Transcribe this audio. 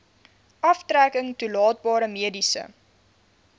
aftrekking toelaatbare mediese